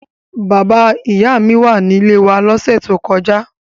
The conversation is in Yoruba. Bàbá-ìyá mi wà nílé wa lọ́sẹ̀ tó kọjá.